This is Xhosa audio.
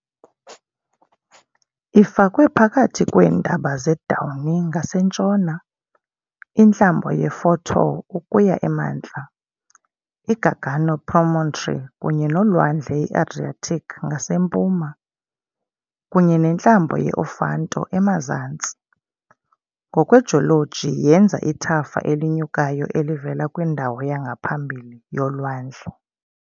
Ifakwe phakathi kweentaba zeDauni ngasentshona, intlambo yeFortore ukuya emantla, iGargano promontory kunye nolwandle iAdriatic ngasempuma, kunye nentlambo ye -Ofanto emazantsi, ngokwejoloji yenza ithafa elinyukayo elivela kwindawo yangaphambili yolwandle.